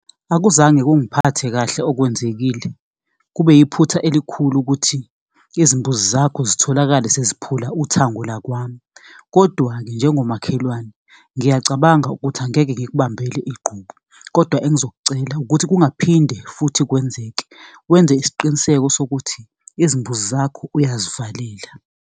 Akuzange kungiphathe kahle okwenzekile. Kube yiphutha elikhulu ukuthi izimbuzi zakho zitholakale seziphula uthango lakwami, Kodwa-ke njengomakhelwane ngiyacabanga ukuthi angeke ngikubambele igqubu, kodwa engizokucela ukuthi kungaphinde futhi kwenzeke. Wenze isiqiniseko sokuthi izimbuzi zakho uyazivalela.